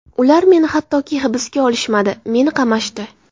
Ular meni hattoki hibsga olishmadi, meni qamashdi.